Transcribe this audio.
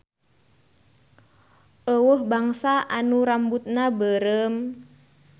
Euweuh bangsa anu rambutna beureum.